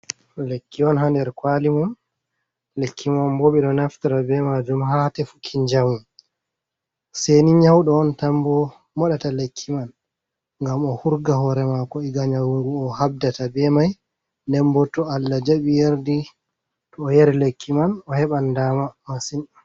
Lekki on haa nder kwaali mum, lekki man boo ɓe ɗo naftira bee maajum haa tefuki njamu, seyni nyawɗo on tan boo moɗata lekki man ngam o hurga hoore maako iga nyawu ngu o haɓdata bee mai, nden bo to Allah jaɓi yardi, to o yari lekki man o heɓan daama masin.